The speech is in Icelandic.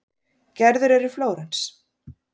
Gerður er í Flórens.